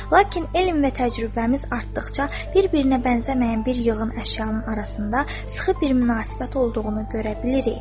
Lakin elm və təcrübəmiz artdıqca, bir-birinə bənzəməyən bir yığın əşyanın arasında sıxı bir münasibət olduğunu görə bilirik.